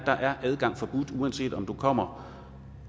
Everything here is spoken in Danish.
der er adgang forbudt uanset om du kommer